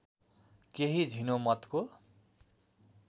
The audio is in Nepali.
केही झिनो मतको